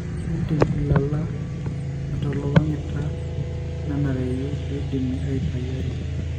kindim ilala atalolongita nanareyu piidim atayu ake.